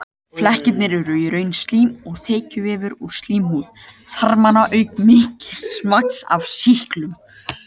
Flekkirnir eru í raun slím og þekjuvefur úr slímhúð þarmanna auk mikils magns af sýklinum.